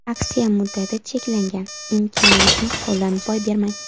Aksiya muddati cheklangan, imkoniyatni qo‘ldan boy bermang.